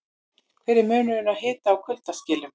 Hver er munurinn á hita- og kuldaskilum?